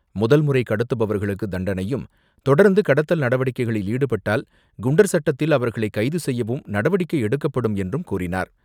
முதல்முறை கடத்துபவர்களுக்கு தண்டனையும், தொடர்ந்து கடத்தல் நடவடிக்கைகளில் ஈடுபட்டால், குண்டர் சட்டத்தில் அவர்களை கைது செய்யவும் நடவடிக்கை எடுக்கப்படும் என்றும் கூறினார்.